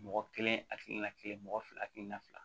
Mɔgɔ kelen hakilina kelen mɔgɔ fila hakilina fila